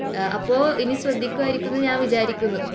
അപ്പൊ ഇനി ശ്രദ്ധിക്കുമായിരിക്കും എന്ന് ഞാൻ വിചാരിക്കുന്നു